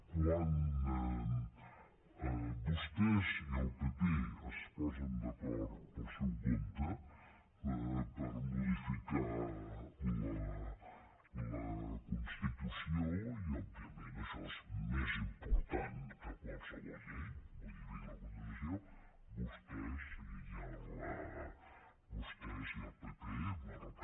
quan vostès i el pp es posen d’acord pel seu compte per modificar la constitució i òbviament això és més important que qualsevol llei modificar la constitució vostès i el pp